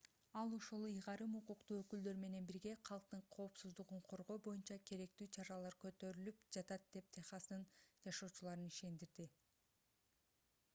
ал ошол ыйгарым укуктуу өкүлдөр менен бирге калктын коопсуздугун коргоо боюнча керектүү чаралар көрүлүп жатат деп техастын жашоочуларын ишендирди